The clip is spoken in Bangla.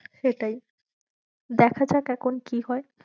সেটাই দেখা যাক এখন কি হয়ে।